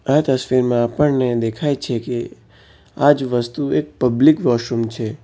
આ તસવીરમાં આપણને દેખાય છે કે આ જ વસ્તુ એક પબ્લિક વોશરૂમ છે.